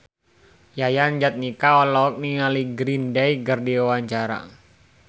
Yayan Jatnika olohok ningali Green Day keur diwawancara